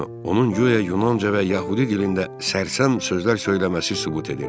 Bunu onun guya Yunanca və Yəhudi dilində sərsəm sözlər söyləməsi sübut edir.